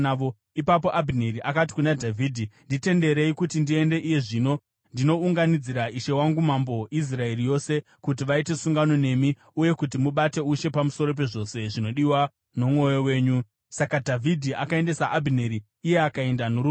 Ipapo Abhineri akati kuna Dhavhidhi, “Nditenderei kuti ndiende iye zvino ndinounganidzira ishe wangu mambo Israeri yose, kuti vaite sungano nemi, uye kuti mubate ushe pamusoro pezvose zvinodiwa nomwoyo wenyu.” Saka Dhavhidhi akaendesa Abhineri, iye akaenda norugare.